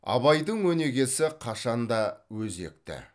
абайдың өнегесі қашанда өзекті